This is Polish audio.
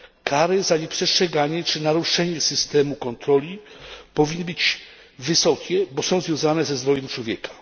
Kary za nieprzestrzeganie czy naruszenie systemu kontroli powinny być wysokie, bo są związane ze zdrowiem człowieka.